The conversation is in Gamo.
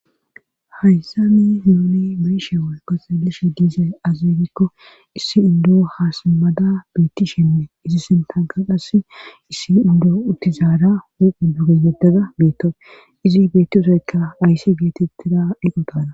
Hayssami nuuni beishe woykko xalishe diize azeegikko issi indo haasammada beitti shinne izi sintanka qass issi indoo uttizaada wuqu duge yeddada beetto izi beettiusekka aysi geetettida dhiqotana.